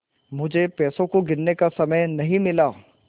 मुझे पैसों को गिनने का समय नहीं मिला